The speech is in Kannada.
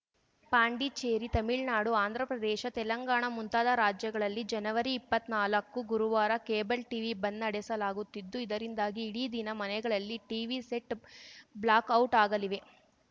ಪಾಂಡಿಚೇರಿ ತಮಿಳ್ನಾಡು ಆಂಧ್ರಪ್ರದೇಶ ತೆಲಂಗಾಣ ಮುಂತಾದ ರಾಜ್ಯಗಳಲ್ಲಿ ಜನವರಿ ಇಪ್ಪತ್ನಾಲಕ್ಕು ಗುರುವಾರ ಕೇಬಲ್‌ ಟಿವಿ ಬಂದ್‌ ನಡೆಸಲಾಗುತ್ತಿದ್ದು ಇದರಿಂದಾಗಿ ಇಡೀ ದಿನ ಮನೆಗಳಲ್ಲಿ ಟಿವಿ ಸೆಟ್‌ ಬ್ಲಾಕ್‌ಔಟ್‌ ಆಗಲಿವೆ